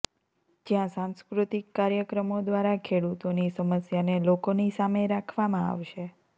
જ્યાં સાંસ્કૃતિક કાર્યક્રમો ઘ્વારા ખેડૂતોની સમસ્યાને લોકોની સામે રાખવામાં આવશે